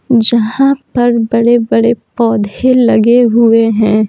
जहां पर बड़े-बड़े पौधे लगे हुए हैं।